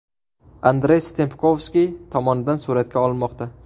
Andrey Stempkovskiy tomonidan suratga olinmoqda.